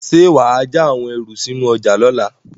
Ṣé wà á ja àwọn ẹrù sínú ọjà lọ́la?